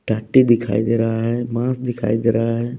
डाटी दिखाई दे रहा है मांस दिखाई दे रहा है।